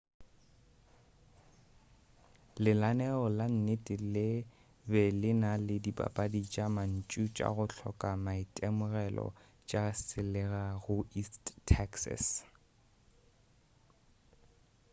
lenaneo la nnete le be le na le dipapadi tša mantšu tša go hloka maitemogelo tša selega go east texas